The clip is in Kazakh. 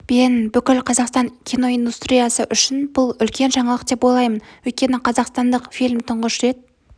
бен бүкіл қазақстан киноиндустриясы үшін бұл үлкен жаңалық деп ойлаймын өйткені қазақстандық фильм тұңғыш рет